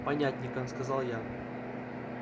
понятненько сказал я